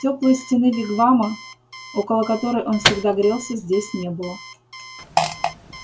тёплой стены вигвама около которой он всегда грелся здесь не было